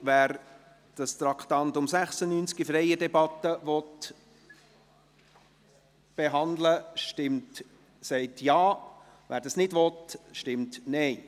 Wer das Traktandum 96 in freier Debatte behandeln will, stimmt Ja, wer dies nicht will, stimmt Nein.